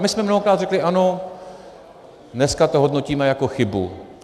A my jsme mnohokrát řekli ano, dneska to hodnotíme jako chybu.